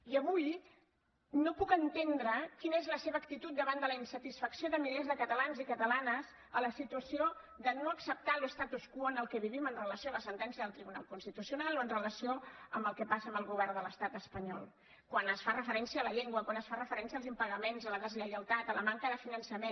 i avui no puc entendre quina és la seva actitud davant de la insatisfacció de milers de catalans i catalanes a la situació de no acceptar l’statu quo en el qual vivim amb relació a la sentència del tribunal constitucional o amb relació al que passa amb el govern de l’estat espanyol quan es fa referència a la llengua quan es fa referència als impagaments a la des lleialtat a la manca de finançament